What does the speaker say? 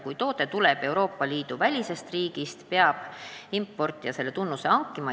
Kui toode tuleb Euroopa Liidu välisest riigist, peab importija selle tunnuse ise panema.